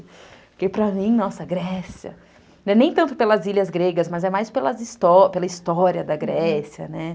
Porque para mim, nossa, Grécia, não é nem tanto pelas ilhas gregas, mas é mais pela história da Grécia, né?